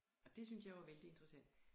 Og det synes jeg jo er vældig interessant